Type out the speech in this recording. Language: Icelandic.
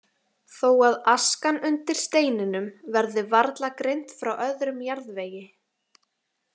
Þó að askan undir steininum verði varla greind frá öðrum jarðvegi.